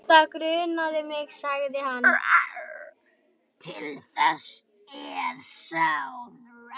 Til þess er sáð.